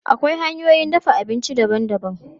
Akwai hanyoyin dafa abinci daban-daban.